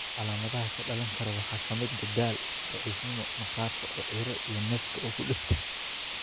Calaamadaha ka dhalan kara waxaa ka mid ah daal (daal), daciifnimo, maqaarka oo cirro, iyo neefta oo ku dhegta.